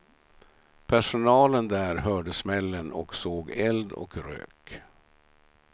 Personalen där hörde smällen och såg eld och rök.